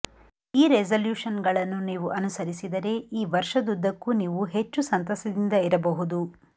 ಈ ರೆಸೂಲ್ಯೂಶನ್ಗಳನ್ನು ನೀವು ಅನುಸರಿಸಿದರೆ ಈ ವರ್ಷದ್ದುದ್ದಕ್ಕೂ ನೀವು ಹೆಚ್ಚು ಸಂತಸದಿಂದ ಇರಬಹುದು